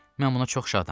Mən buna çox şadam.